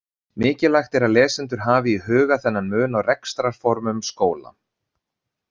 Mikilvægt er að lesendur hafi í huga þennan mun á rekstrarformum skóla.